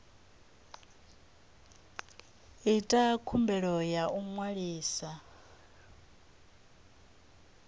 ita khumbelo ya u ṅwalisa